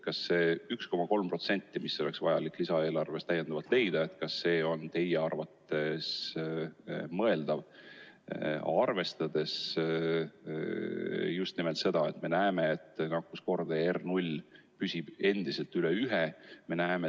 Kas see 1,3%, mis oleks vaja lisaeelarvest leida, on teie arvates mõeldav, arvestades just nimelt seda, et nakkuskordaja R0 püsib endiselt üle ühe?